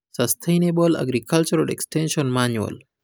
Sustainable AgricultureExtention Manual